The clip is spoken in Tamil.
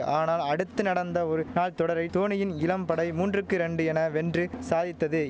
ஆனால் அடுத்து நடந்த ஒரு நாள் தொடரை தோனியின் இளம் படை மூன்றுக்கு ரெண்டு என வென்று சாதித்தது